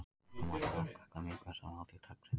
Morgunmatur er oft kallaður mikilvægasta máltíð dagsins.